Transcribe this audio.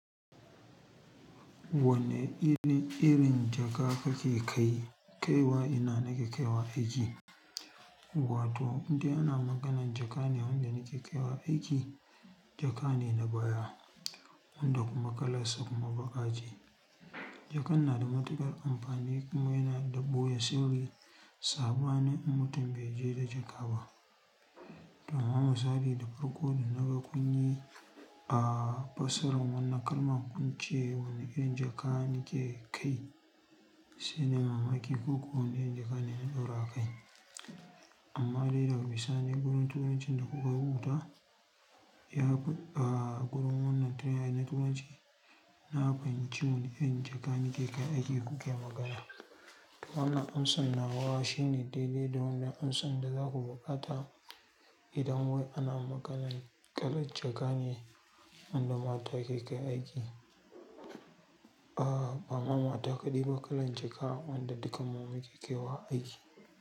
Wanne irin, irin jaka kake kai, kaiwa ina nake kaiwa aiki? Wato wanda ana maganan jaka ne wanda nake kaiwa aiki. Jaka ne na baya wanda kuma kalan sa kuma baƙa ce. Jakan na da matuƙar amfani kuma yana da ɓoye sirri saɓanin in mutum bai je da jaka ba. To amma misali da farko da naga kun yi a fasaran wannan kalma kun ce wanne irin jaka nake kai shine mamaki ko kuwa wanne irin jaka ne na ɗaura a kai. Amma dai daga bisani gurin turancin da kuka rubuta ya ku a gurin wannan train na turanci na bani ci wanne irin jaka nake kai aiki kuke magana. Wannan amsan nawa shine daidai da wanda amsan da zaku buƙata idan wai ana maganan kalan jaka ne wanda mata ke kai aiki. A ba mata ta kaɗi ba kalan jaka wanda dukan mu muke kaiwa aiki.